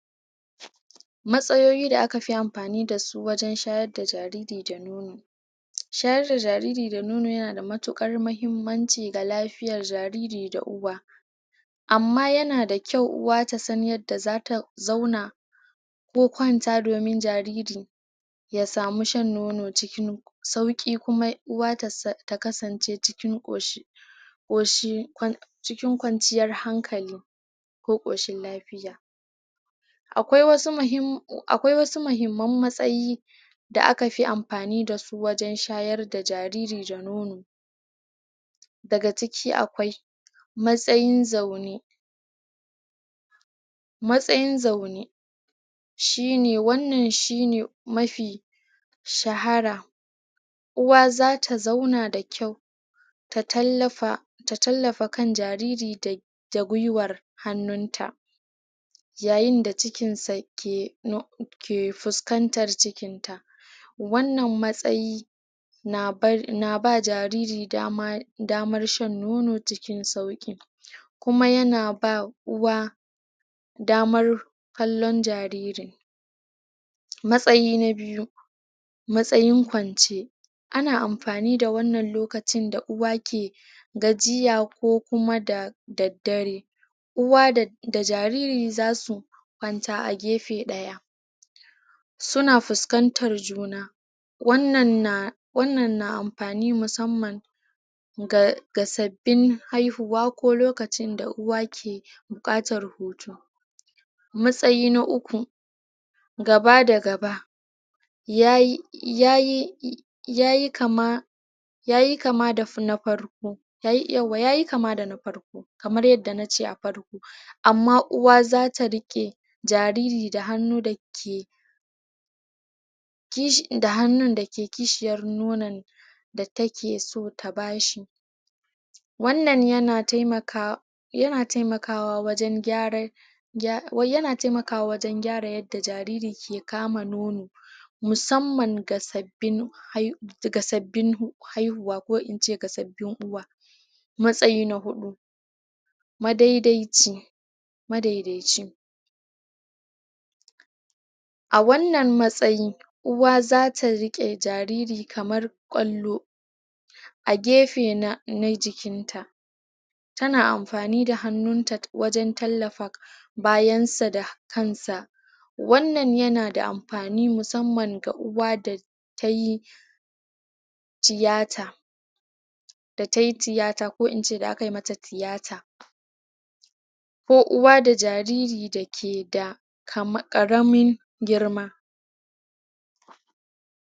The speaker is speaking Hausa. matsayoyi da aka fi amfani dasu wajen shayar da jariri da nono shayar da jairiri da nono yana da matukar mahimmanci ga lafiyan jairiri da uwa amma yana da kyau uwa ta san yadda zata zauna ko kwanta domin jariri ya samu shan nono cikin sauki kuma uwa ta kasance cikin koshin koshi um cikin kwanciyar hankali ko koshin lafiya akwai wasu mahimman akwai wasu mahimman matsayi da akafi amfani dasu wajen shayar da jariri da nono daga ciki akwai matsayin zaune matsayin zaune shine wannan shine mafi shahara uwa zata zauna da kyau ta tallafa ta tallafa kan jariri da da gwuiwar hannunta yayin da cikinsa ke ke fuskantar cikinta wannan matsayi na bar na ba jariri dama damar shan nono cikin sauki kuma yana ba uwa damar kallon jaririn matsayi na biyu matsayin kwance ana amfani da wannan lokacin da uwa ke gajiya ko kuma da daddare uwa da da jariri zasu kwanta a gefe daya suna fuskantan juna wannan na wannan na amfani musamman ga ga sabbin haihuwa ko lokacin da uwa ke bukatar hutu matsayi na uku gaba da gaba yayi yayi um yayi kama yayi kama da na farko yayi yauwa yayi kama da na farko kamar yadda nace a farko amma uwa zata rike jariri da hannu da ke um kishi da hannu da ke kishiyar nonon da takeso ta bashi wannan yana taimakawa yana taimakawa wajen gyaran yana taimakawa wajen gyara yadda jariri ke kama nono musamman ga sab bin hai daga sabbin haihuwa ko ince ga sabbin uwa matsayi na hudu madaidaici madaidaici a wannan matsayi uwa zata rike jariri kamar kwallo a gefe na na jikinta tana amfani da hannunta wajen tallafa bayansa da kan sa wannan yana da amfani musamman ga uwa da tayi tiyata da tai tiyata ko ince da aka mata tiyata ko uwa da jariri da ke da karamin girma